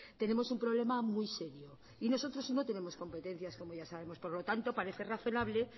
tenemos un problema muy serio y nosotros no tenemos competencias como ya sabemos por lo tanto parece razonable